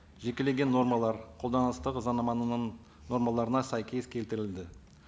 жекелеген нормалар қолданыстағы нормаларына сәйкес келтірілді